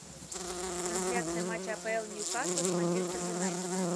трансляция матча апл ньюкасл с манчестер юнайтед